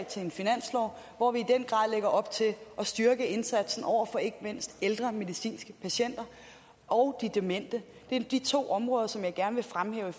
til en finanslov hvor vi i op til at styrke indsatsen over for ikke mindst de ældre medicinske patienter og de demente det er de to områder som jeg gerne vil fremhæve i